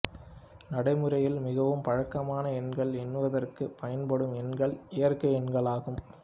நடைமுறையில் மிகவும் பழக்கமான எண்கள் எண்ணுவதற்குப் பயன்படும் எண்கள் இயற்கை எண்களாகும்